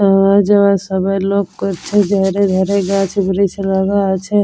আওয়া যাওয়ায় সব লোক করছে ধারে ধারে গাছব্রিচ লাগা আছে।